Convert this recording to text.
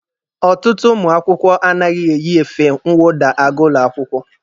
Ọtụtụ ụmụ akwụkwọ anaghị eyi efe nwụda aga ụlọ akwụkwọ.